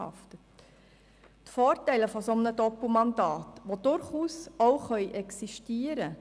Ein solches Doppelmandat kann allerdings auch Vorteile haben.